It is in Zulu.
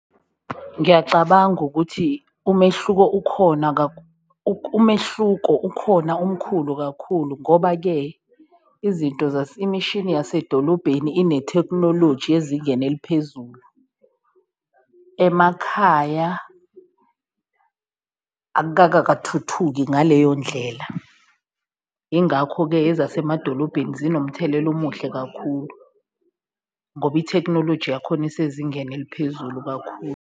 Ngiyacabanga ukuthi umehluko ukhona umehluko ukhona omkhulu kakhulu ngoba-ke izinto imishini yasedolobheni inethekhnoloji ezingeni eliphezulu, emakhaya ngaleyo ndlela, ingakho-ke ezasemadolobheni zinomthelela omuhle kakhulu ngoba ithekhinoloji yakhona isezingeni eliphezulu kakhulu.